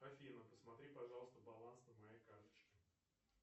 афина посмотри пожалуйста баланс на моей карточке